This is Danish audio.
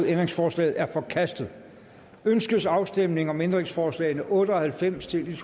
ændringsforslaget er forkastet ønskes afstemning om ændringsforslag nummer otte og halvfems til